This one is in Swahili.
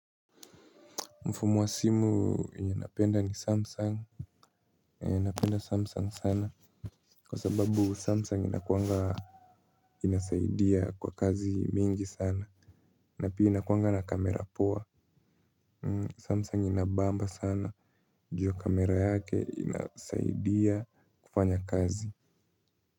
Mfumu wa simu enye napenda ni Samsung. Napenda samsung sana. Kwa sababu Samsung inakuanga inasaidia kwa kazi mingi sana. Na pia inakuanga na kamera poa. Samsung inabamba sana, juu kamera yake inasaidia kufanya kazi.